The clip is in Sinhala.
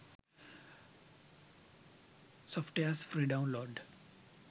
softwares free download